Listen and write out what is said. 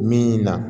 Min na